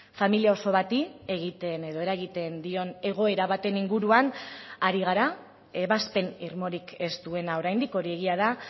familia oso bati egiten edo eragiten dion egoera baten inguruan ari gara ebazpen irmorik ez duena oraindik hori egia da